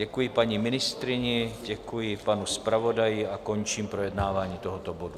Děkuji paní ministryni, děkuji panu zpravodaji a končím projednávání tohoto bodu.